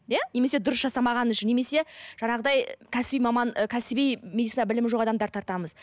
ия немесе дұрыс жасамағаны үшін немесе жаңағыдай кәсіби маман кәсіби медицина білімі жоқ адамдарды тартамыз